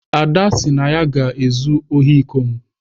Ada sị na ya ga-ezu ohi iko m.